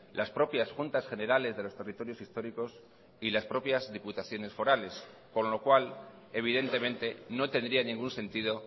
las propias juntas generales de los territorios históricos y las propias diputaciones forales con lo cual evidentemente no tendría ningún sentido